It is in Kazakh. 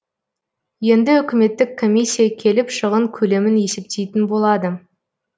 енді үкіметтік комиссия келіп шығын көлемін есептейтін болады